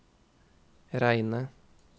Reine